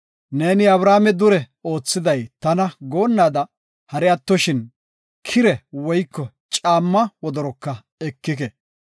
Neeni, ‘Abrame dure oothiday tana goonnaada’ hari attoshin kire woyko caamma wodoroka ekike.